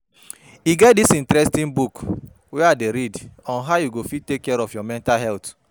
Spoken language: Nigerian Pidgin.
E get dis interesting book wey I dey read on how you go fit take care of your mental health